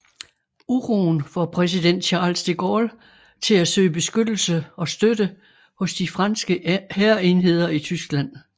Uroen får præsident Charles de Gaulle til at søge beskyttelse og støtte hos de franske hærenheder i Tyskland